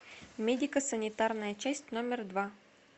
медико санитарная часть номер два